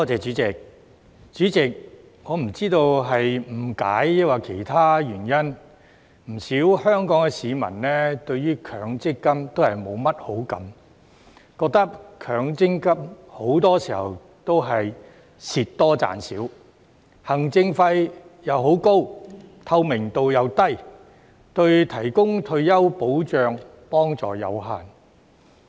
主席，我不知道是誤解抑或其他原因，不少香港市民對於強制性公積金都是沒甚麼好感，覺得強積金很多時候都是蝕多賺少、行政費又很高、透明度又低，對提供退休保障的幫助有限。